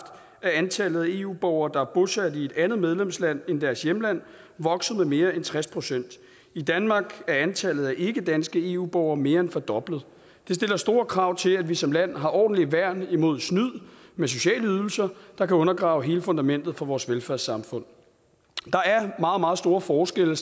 er antallet af eu borgere der er bosat i et andet medlemsland end deres hjemland vokset med mere end tres procent i danmark er antallet af ikkedanske eu borgere mere end fordoblet det stiller store krav til at vi som land har et ordentligt værn imod snyd med sociale ydelser der kan undergrave hele fundamentet for vores velfærdssamfund der er stadig meget meget store forskelle